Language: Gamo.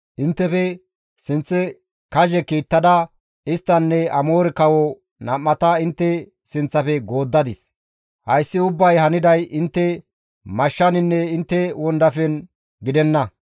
Inttefe sinththe kazhe kiittada isttanne Amoore kawo nam7ata intte sinththafe gooddadis. Hayssi ubbay haniday intte mashshaninne intte wondafen gidenna.